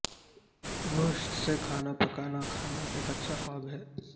گوشت سے کھانا پکانا کھانا ایک اچھا خواب ہے